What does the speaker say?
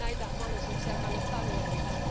Näitä mahdollisuuksia kannattaa hyödyntää.